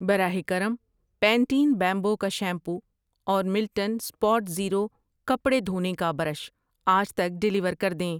براہ کرم، Pantene bamboo کا شیمپو اور ملٹن سپاٹزیرو کپڑے دھونے کا برش آج تک ڈیلیور کر دیں۔